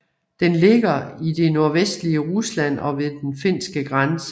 Den ligger i det nordvestlige Rusland ved den finske grænse